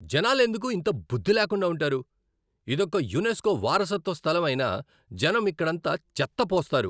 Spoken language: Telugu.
జనాలెందుకు ఇంత బుద్ధి లేకుండా ఉంటారు? ఇదొక యునెస్కో వారసత్వ స్థలం అయినా జనం ఇక్కడంతా చెత్త పోస్తారు.